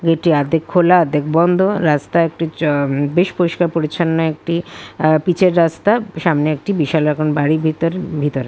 এটি অর্ধেক খোলা অর্ধেক বন্ধ রাস্তা একটি উম বেশ চও বেশ পরিষ্কার পরিচ্ছন্ন একটি অ্যা পিচের রাস্তা সামনে একাটি বিশাল রকম বাড়ির ভিতর ভিতর।